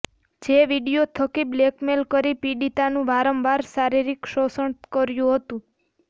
જે વીડિયો થકી બ્લેકમેલ કરી પીડિતાનું વારંવાર શારીરિક શોષણ કર્યુ હતુ